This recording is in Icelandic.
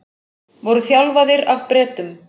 Voru þjálfaðir af Bretum